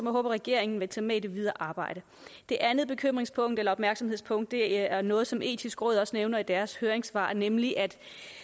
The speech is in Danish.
håber regeringen vil tage med i det videre arbejde det andet bekymringspunkt eller opmærksomhedspunkt er noget som det etiske råd også nævner i deres høringssvar nemlig at